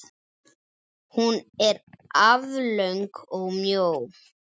Hún er aflöng og mjó.